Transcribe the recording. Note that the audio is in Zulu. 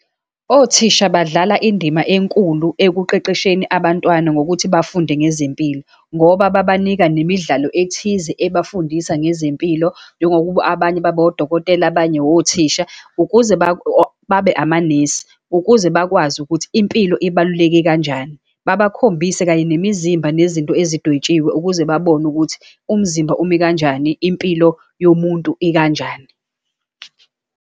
Othisha badlala indima enkulu ekuqeqesheni abantwana ngokuthi bafunde ngezempilo, ngoba babanika nemidlalo ethize, ebafundisa ngezempilo, njengokuba abanye babe odokotela, abanye othisha, ukuze babe amanesi ukuze bakwazi ukuthi impilo ibaluleke kanjani. Babakhombise kanye nemizimba, nezinto ezidwetshiwe ukuze babone ukuthi umzimba umi ikanjani, impilo yomuntu ikanjani.